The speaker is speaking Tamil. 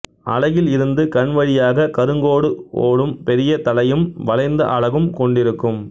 அலகில் இருந்து கண்வழியாக கருங்கோடு ஒடும் பெரிய தலையும் வளைந்த அலகும் கொண்டிருக்கும்